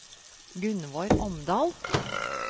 Gunnvor Omdal